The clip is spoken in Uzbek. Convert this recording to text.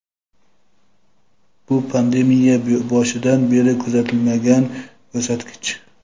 Bu pandemiya boshidan beri kuzatilmagan ko‘rsatkich.